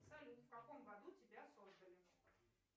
салют в каком году тебя создали